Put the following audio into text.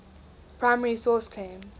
primary source claim